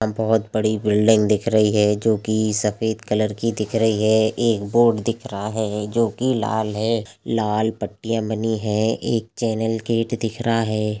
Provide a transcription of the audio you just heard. अ बहोत बड़ी बिल्डिंग दिख रही है जोकी सफेद कलर की दिख रही है एक बोर्ड दिख रहा है जो की लाल है लाल पट्टियाँ बनी है एक चैनल गेट दिख रहा है।